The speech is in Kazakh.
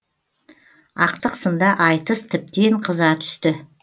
ақтық сында айтыс тіптен қыза түсті